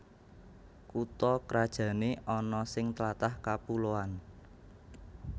Kutha krajané ana sing tlatah kapuloan